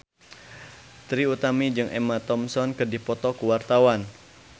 Trie Utami jeung Emma Thompson keur dipoto ku wartawan